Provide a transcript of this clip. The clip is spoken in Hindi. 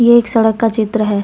ये एक सड़क का चित्र है ।